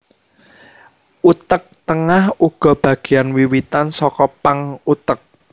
Utek tengah uga bageyan wiwitan saka pang utek